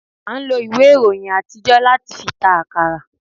a n lò iwé iroyín atijo, latí fí ta akará